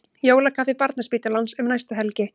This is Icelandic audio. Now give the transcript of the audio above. Jólakaffi Barnaspítalans um næstu helgi